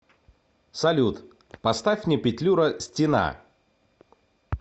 салют поставь мне петлюра стена